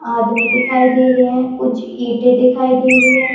आदमी दिखाई दे रहे हैं कुछ ईंटे दिखाई दे रही हैं।